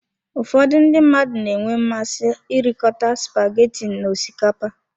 Ụfọdụ ndị mmadụ na-enwe mmasị irikọta spaghetti na osikapa.